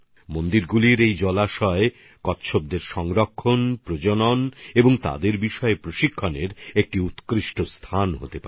মন্দিরের এই পুকুরগুলি কচ্ছপের সংরক্ষণ প্রজনন আর তাদের নিয়ে প্রশিক্ষণের জন্য এক অসাধারণ স্থান হতে পারে